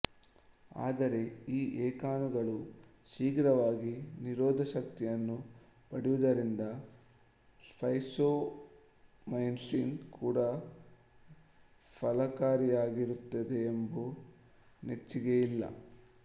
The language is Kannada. ಆದರೆ ಈ ಏಕಾಣುಗಳು ಶೀಘ್ರವಾಗಿ ನಿರೋಧಶಕ್ತಿಯನ್ನು ಪಡೆಯುವುದರಿಂದ ಸ್ಟ್ರೆಪ್ಟೊಮೈಸಿನ್ ಕೂಡ ಫಲಕಾರಿಯಾಗಿರುತ್ತೆಂಬುದು ನೆಚ್ಚಿಗೆ ಇಲ್ಲ